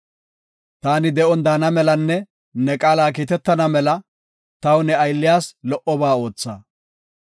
Taani de7on daana melanne ne qaala kiitetana mela taw ne aylliyas lo77oba ootha.